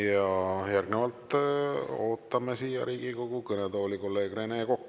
Ja järgnevalt ootame siia Riigikogu kõnetooli kolleeg Rene Kokka.